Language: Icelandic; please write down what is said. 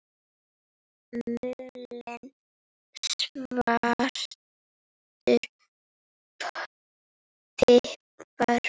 Mulinn svartur pipar